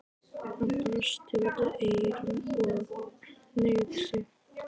Hann brosti út að eyrum og hneigði sig.